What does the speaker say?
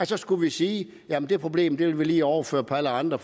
så skulle sige jamen det problem vil vi lige overføre på alle andre